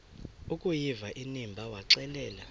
akuyiva inimba waxelela